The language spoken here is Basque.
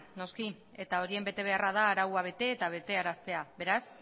noski eta horien betebeharra da arauak bete eta betearaztea beraz